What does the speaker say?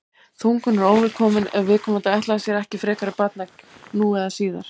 þungun er óvelkomin ef viðkomandi ætlaði sér ekki frekari barneign nú eða síðar